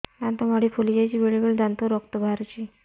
ଦାନ୍ତ ମାଢ଼ି ଫୁଲି ଯାଉଛି ବେଳେବେଳେ ଦାନ୍ତରୁ ରକ୍ତ ବାହାରୁଛି